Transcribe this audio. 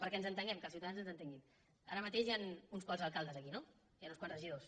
perquè ens entenguem que els ciutadans ens entenguin ara mateix hi han uns quants alcaldes aquí no i hi han uns quants regidors